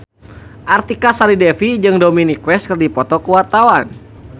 Artika Sari Devi jeung Dominic West keur dipoto ku wartawan